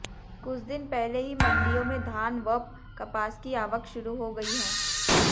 कुछ दिन पहले ही मंडियों में धान वप कपास की आवक शुरू हो गई है